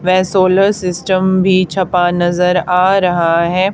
वे solar system भीं छपा नजर आ रहा हैं।